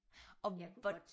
Og hvor